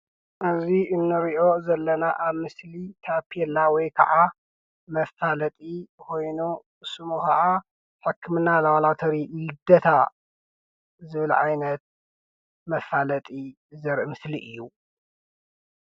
ኣብዚ እንሪኦ ዘለና ኣብ ምስሊ ታፔላ ወይ ከዓ መፋለጢ ኾይኑ ሽሙ ከዓ ሕክምና ላባላቶሪ ይደታ ዝብል ዓይነት መፋለጢ ዘርኢ ምስሊ እዩ፡፡